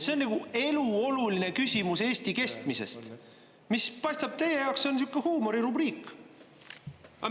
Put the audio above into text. See on nagu elu oluline küsimus Eesti kestmisest, mis paistab, et teie jaoks on sihuke huumorirubriik.